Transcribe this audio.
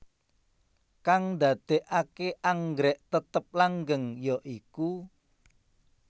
Kang ndadekake anggrèk tetep langgeng ya iku